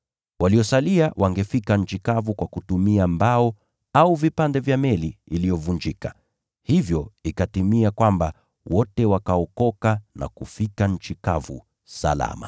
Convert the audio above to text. Waliosalia wangefika nchi kavu kwa kutumia mbao au vipande vya meli iliyovunjika, hivyo ikatimia kwamba wote wakaokoka na kufika nchi kavu salama.